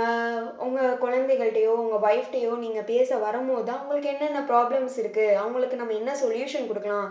ஆஹ் உங்க குழந்தைகள்ட்டயோ உங்க wife ட்டையோ நீங்க பேச வரும்போதுதான் உங்களுக்கு என்னென்ன problems இருக்கு அவங்களுக்கு நம்ம என்ன solution கொடுக்கலாம்